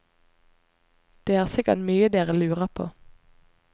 Det er sikkert mye dere lurer på.